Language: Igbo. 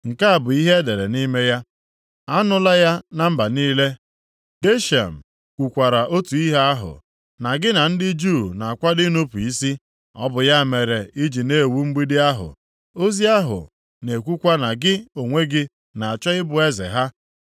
Nke a bụ ihe e dere nʼime ya; “Anụla ya na mba niile, Geshem kwukwara otu ihe ahụ, na gị na ndị Juu na-akwado inupu isi. Ọ bụ ya mere i ji na-ewu mgbidi ahụ. Ozi ahụ na-ekwukwa na gị onwe gị na-achọ ịbụ eze ha,